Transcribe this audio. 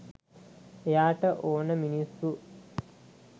එයාට ඕනෙ මිනිස්සු